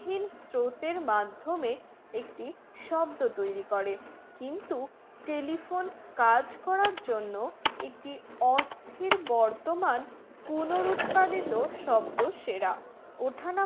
স্রোতের মাধ্যমে একটি শব্দ তৈরী করে কিন্তু telephone কাজ করার জন্য একটি অস্থির বর্তমান পুনরুৎপাদিত শব্দ সেরা ওঠানামা